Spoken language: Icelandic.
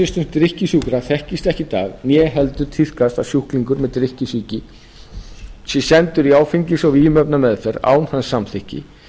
hælisvistun drykkjusjúkra þekkist ekki í dag né heldur tíðkast að sjúklingur með drykkjusýki sé sendur í áfengis og vímuefnameðferð án hans samþykkis